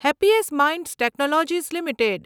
happiest Minds Technologies limited